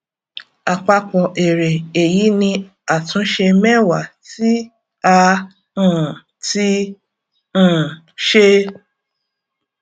àpapọ èrè èyí ni àtúnṣe mẹwa tí a um ti um ṣe